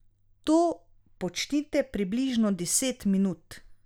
To počnite približno deset minut.